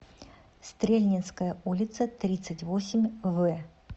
стрельнинская улица тридцать восемь в